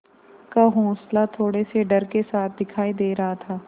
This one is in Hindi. का हौंसला थोड़े से डर के साथ दिखाई दे रहा था